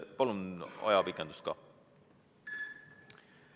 Palun ajapikendust!